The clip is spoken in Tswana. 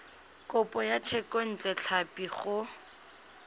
kopo ya thekontle tlhapi go